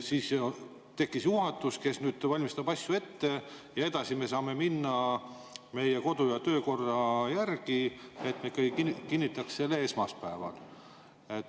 Siis ju tekkis juhatus, kes valmistab asju ette, ja edasi me saame minna meie kodu‑ ja töökorra järgi, nii et me kinnitaksime selle esmaspäeval.